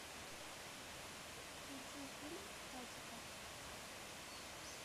включи фильм хатико